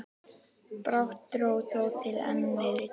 Brátt dró þó til enn meiri tíðinda.